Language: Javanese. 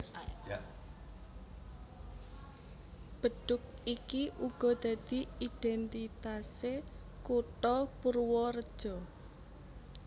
Bedhug iki uga dadi idhéntitasé kutha Purwareja